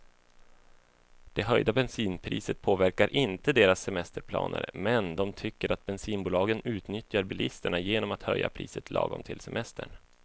Det höjda bensinpriset påverkar inte deras semesterplaner, men de tycker att bensinbolagen utnyttjar bilisterna genom att höja priset lagom till semestern.